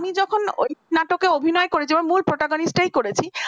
আমি যখন ওই নাটক অভিনয় করি মানে মূল ভোটাগানিসটাই করেছি